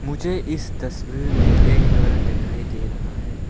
मुझे इस तस्वीर में एक घर दिखाई दे रहा है।